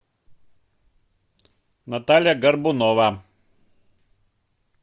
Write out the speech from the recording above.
наталья горбунова